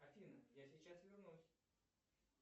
афина я сейчас вернусь